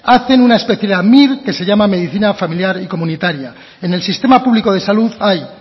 hacen una especialidad mir que se llama medicina familiar y comunitaria en el sistema público de salud hay